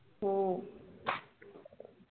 हम्म